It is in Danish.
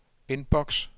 inbox